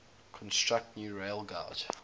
construct new railgauge